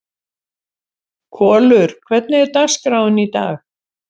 Kolur, hvernig er dagskráin í dag?